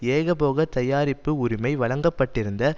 ஏகபோக தயாரிப்பு உரிமை வழங்க பட்டிருந்த